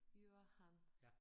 Johan